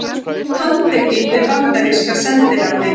Handtekinn við bandaríska sendiráðið